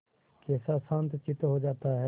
कैसा शांतचित्त हो जाता है